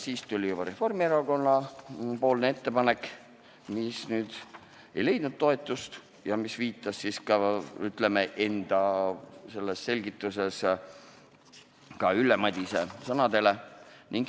Siis tuli Reformierakonna ettepanek, mis ei leidnud toetust ja mille selgituses oli viidatud ka Ülle Madise sõnadele.